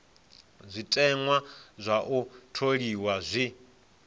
zwiteṅwa zwa u tholiwa zwi